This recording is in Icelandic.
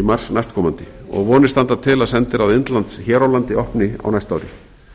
í mars næstkomandi og vonir standa til að sendiráð indlands hér á landi opni á næsta ári